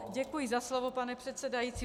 Děkuji za slovo, pane předsedající.